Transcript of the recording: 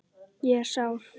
Ég er sár.